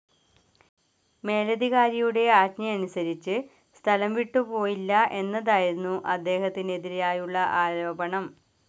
മേലധികാരിയുടെ ആജ്ഞയനുസരിച്ചു സ്ഥലം വിട്ടുപോയില്ല എന്നതായിരുന്നു അദ്ദേഹത്തിനെതിരായുള്ള ആരോപണം.